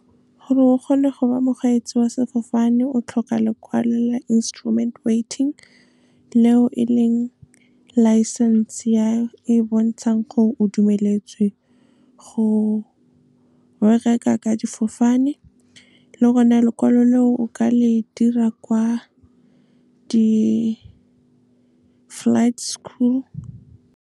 Gore o kgone go ba mokgweetsi wa sefofane, o tlhoka lekwalo la instrument waiting. Leo e leng licence-e e bontshang gore o dumeletswe go bereka ka difofane. Le gone lekwalo leo o ka le dira kwa di-flight school.